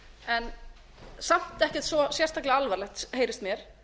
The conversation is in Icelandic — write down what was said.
en samt ekkert svo sérstaklega alvarlegt heyrist mér